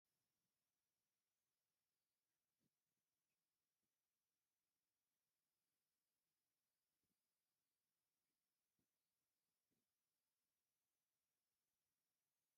ኣብ ኣኽሱም ከተማ ሸሞንተ ኣቕጣጫ ዘምልክቱ ካብ እምኒ ዝተሰርሑ ሓበርቲ ኣንፈት ኣለዉ፡፡ እዞም ሸሞንተ ዓንፈታት ሽሞም እንታይ እንታይ ይበሃል ትብሉ?